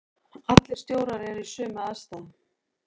Allir stjórar eru í sömu aðstæðunum.